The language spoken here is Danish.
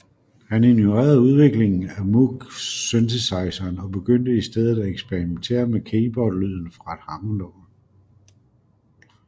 Han ignorerede udviklingen af Moog synthesizeren og begyndte i stedet at eksperimentere med keyboardlyden fra et hammondorgel